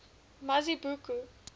mazibuko